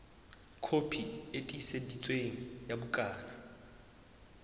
kopi e tiiseditsweng ya bukana